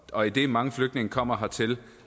og idet mange flygtninge kommer hertil